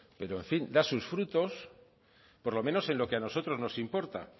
pero en fin da sus frutos por lo menos a lo que a nosotros nos importa